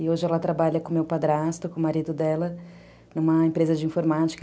E hoje ela trabalha com o meu padrasto, com o marido dela, numa empresa de informática.